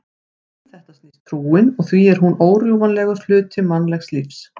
Um þetta snýst trúin og því er hún órjúfanlegur hluti mannlegs lífs.